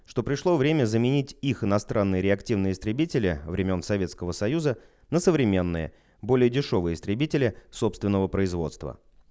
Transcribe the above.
что пришло время заменить их иностранные реактивные истребители времён советского союза на современные более дешёвые истребители собственного производства